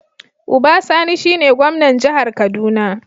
Uba Sani shine gwamnan jihar kaduna.